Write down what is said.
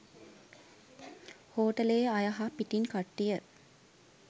හෝටලයේ අය හා පිටින් කට්ටිය